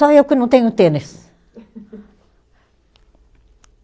Só eu que não tenho tênis.